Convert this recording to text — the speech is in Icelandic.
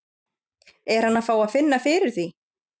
Er hann að fá að finna fyrir því?